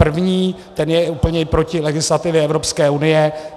První, ten je úplně i proti legislativě Evropské unie.